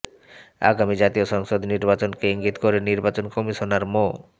আগামী জাতীয় সংসদ নির্বাচনকে ইঙ্গিত দিয়ে নির্বাচন কমিশনার মো